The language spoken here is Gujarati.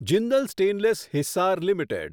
Jindal stainless Hisar limited